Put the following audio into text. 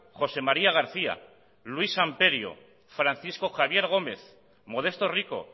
josé maría garcía luis amperio francisco javier gómez modesto rico